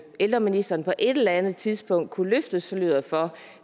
ældreministeren på et eller andet tidspunkt kunne løfte sløret for